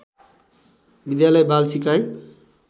विद्यालय बाल सिकाइ